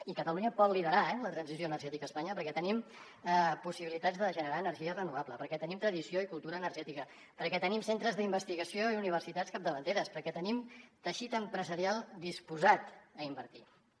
i catalunya pot liderar eh la transició energètica a espanya perquè tenim possibilitats de generar energia renovable perquè tenim tradició i cultura energètica perquè tenim centres d’investigació i universitats capdavanteres perquè tenim teixit empresarial disposat a invertir hi